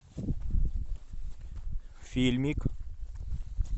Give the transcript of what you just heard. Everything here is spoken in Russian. фильмик